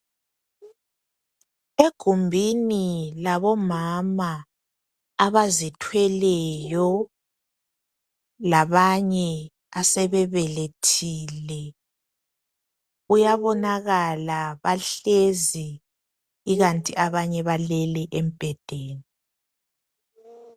Egumbini labomama abazithweleyo labanye asebebelethile kuyabonakala bahlezi ikanti abanye balele embhedeni.